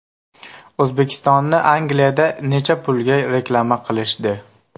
O‘zbekistonni Angliyada necha pulga reklama qilishdi?